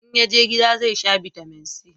in yaje gida zai sha bitamin c